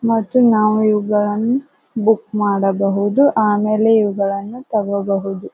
ಮತ್ತು ನಾವು ಇವುಗಳನ್ನು ಬುಕ್ ಮಾಡಬಹುದು ಆಮೇಲೆ ಇವುಗಳನ್ನು ತಗೊಬಹುದು.